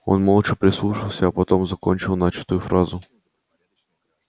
он молча прислушался а потом закончил начатую фразу